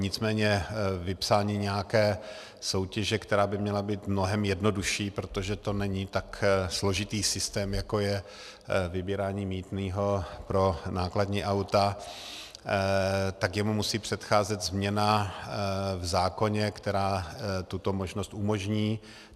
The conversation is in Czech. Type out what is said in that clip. Nicméně vypsání nějaké soutěže, která by měla být mnohem jednodušší, protože to není tak složitý systém, jako je vybírání mýtného pro nákladní auta, tak tomu musí předcházet změna v zákoně, která tuto možnost umožní.